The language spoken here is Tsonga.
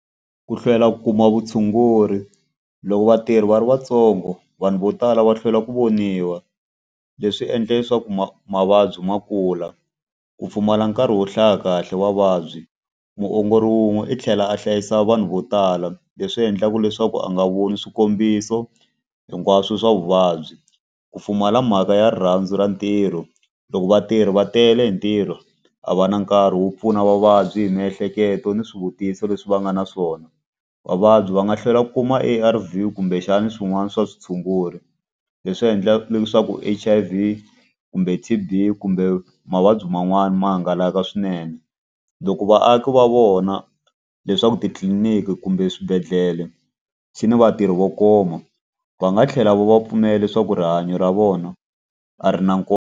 Ku hlwela ku kuma vutshunguri. Loko vatirhi va ri vatsongo, vanhu vo tala va hlwela ku voniwa. Leswi endla leswaku mavabyi ma kula. Ku pfumala nkarhi wo hlaya kahle vavabyi. Muongori wun'we i tlhela a hlayisa vanhu vo tala, leswi endlaka leswaku a nga voni swikombiso hinkwaswo swa vuvabyi. Ku pfumala mhaka ya rirhandzu ra ntirho. Loko vatirhi va tele hi ntirho, a va na nkarhi wo pfuna vavabyi hi miehleketo ni swivutiso leswi va nga na swona. Vavabyi va nga hlwela ku kuma A_R_V kumbexani swin'wana swa switshungulo leswi endlaka leswaku H_I_V kumbe T_B kumbe mavabyi man'wani ma hangalaka swinene. Loko vaaki va vona leswaku titliliniki kumbe swibedhlele swi ni vatirhi vo koma, va nga tlhela va va pfumela leswaku rihanyo ra vona a ri na nkoka.